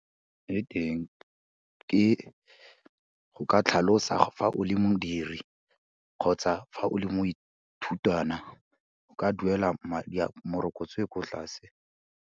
Le teng ke, go ka tlhalosa fa o le modiri kgotsa fa o le moithutwana, o ka duela madi a, morokotso e ko tlase.